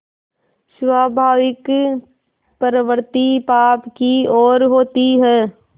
स्वाभाविक प्रवृत्ति पाप की ओर होती है